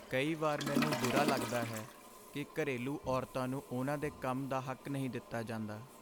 ਕਈ ਵਾਰ ਮੈਨੂੰ ਬੁਰਾ ਲੱਗਦਾ ਹੈ ਕਿ ਘਰੇਲੂ ਔਰਤਾਂ ਨੂੰ ਉਨ੍ਹਾਂ ਦੇ ਕੰਮ ਦਾ ਹੱਕ ਨਹੀਂ ਦਿੱਤਾ ਜਾਂਦਾ।